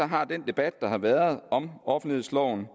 har den debat der har været om offentlighedsloven